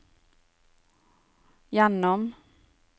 gjennom